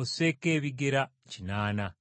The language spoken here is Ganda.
osseeko ebigera kinaana.’